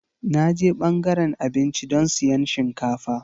Na je ɓangaren abinci don siyan shinkafa.